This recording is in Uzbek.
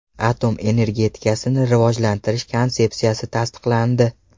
Atom energetikasini rivojlantirish konsepsiyasi tasdiqlandi.